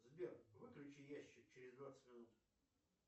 сбер выключи ящик через двадцать минут